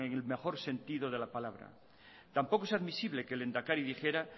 en el mejor sentido de la palabra tampoco es admisible que el lehendakari dijera